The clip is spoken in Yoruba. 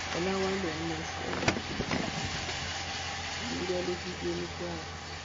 ọlàwálẹ ń lọ sẹwọn oṣù mẹfà ewúrẹ ló jí gbé ní kwara